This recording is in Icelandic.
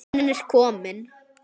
Hann er kominn!